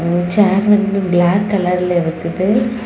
சேர் வந்து பிளாக் கலர்ல இருக்குது.